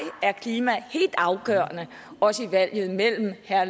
er klima helt afgørende også i valget mellem herre